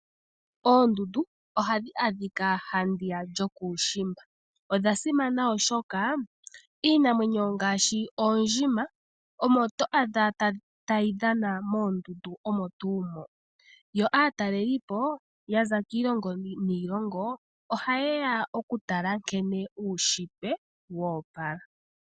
Oondundu ohadhi adhika handi ya lyookushiimba. Odha simana oshoka iinamwenyo ngaashi oondjima omo to adha tayi dhana moondundu omo tuu mo, yo aataleli po yaza kiilongo niilongo ohaye ya oku tala nkene uunshitwe woopala.